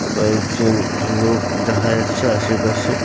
কয়েকজন লোক দেখা যাচ্ছে আশেপাশে ।